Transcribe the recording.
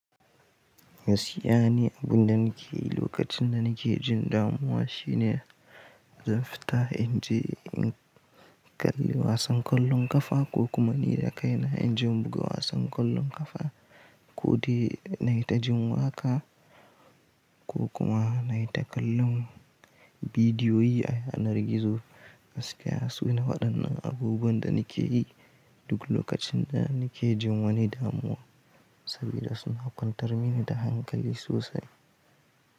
Gaskiya ne, abun da nake yi lokacin da nake jin damuwa shine zan fita in je in kalli wasan ƙwallon ƙafa ko kuma ni da kaina injin buga wasan ƙwallon ƙafa, ko dai na yi ta jin waƙa ko kuma na yi ta kallon bidiyoyi a yanar gizo. Gaskiya su ne waɗannan abubuwan da nake yi duk lokacin da nake jin wani damuwa saboda suna kwantar mini da hankali sosai.